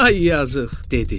Ay yazıq!